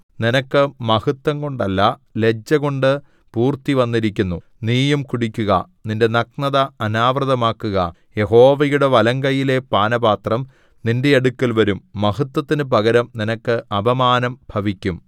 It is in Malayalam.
നിനക്ക് മഹത്വംകൊണ്ടല്ല ലജ്ജകൊണ്ട് പൂർത്തിവന്നിരിക്കുന്നു നീയും കുടിക്കുക നിന്റെ നഗ്നത അനാവൃതമാക്കുക യഹോവയുടെ വലങ്കയ്യിലെ പാനപാത്രം നിന്റെ അടുക്കൽ വരും മഹത്വത്തിന് പകരം നിനക്ക് അപമാനം ഭവിക്കും